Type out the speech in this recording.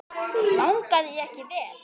Vangaði ég ekki vel?